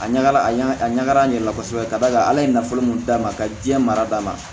A ɲagara a ɲa a ɲagara n yɛrɛ la kosɛbɛ ka d'a kan ala ye nafolo min d'a ma ka diɲɛ mara da ma